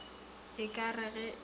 e ka re ge e